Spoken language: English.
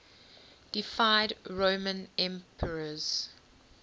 deified roman emperors